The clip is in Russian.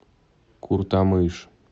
куртамыш